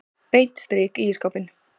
Beint strik í ísskápinn.